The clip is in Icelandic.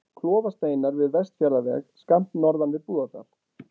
Klofasteinar við Vestfjarðaveg, skammt norðan við Búðardal.